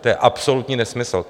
To je absolutní nesmysl.